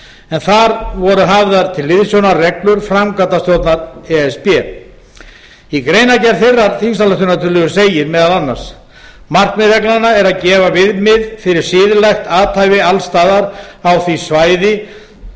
en þar voru hafðar til hliðsjónar reglur framkvæmdastjórnar e s b í greinargerð þeirrar þingsályktunartillögu segir meðal annars markmið reglnanna er að gefa viðmið fyrir siðlegt athæfi alls staðar á því svæði